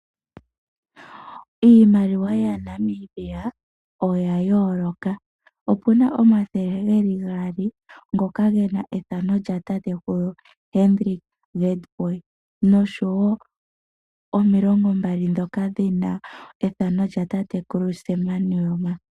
Iimaliwa yaNamibia, oya yooloka, opu na omathele geli gaali ngoka gena ethano lyatatekulu Hendrik Witbooi, nomilongo mbali ndhoka dhina ethano lyatatekulu Sam Nujoma.